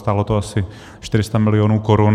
Stálo to asi 400 milionů korun.